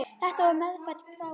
Þetta var meðfædd gáfa.